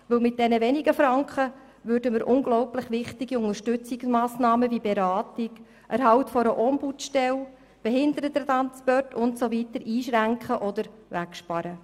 Denn mit diesen wenigen Franken würden wir unglaublich wichtige Unterstützungsmassnahmen wie Beratung, Erhalt einer Ombudsstelle, Behindertentransporte und so weiter einschränken oder wegsparen.